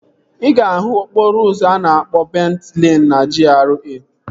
Ị ga-ahụ okporo ụzọ a na-akpọ Bent Leen na GRA